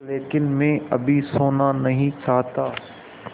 लेकिन मैं अभी सोना नहीं चाहता